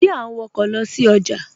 Ṣe à n wọ̀kọ̀ lọ sí ọjà?